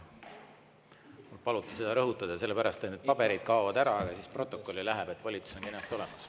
Mul paluti seda rõhutada sellepärast, et paberid kaovad ära, aga siis protokolli läheb ikkagi kirja, et volitus on kenasti olemas.